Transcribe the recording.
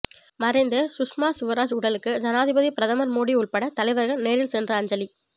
மறைந்த சுஷ்மா சுவராஜ் உடலுக்கு ஜனாதிபதி பிரதமர் மோடி உள்பட தலைவர்கள் நேரில் சென்று அஞ்சலி